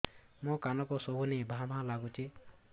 ମୋ କାନକୁ ଶୁଭୁନି ଭା ଭା ଲାଗୁଚି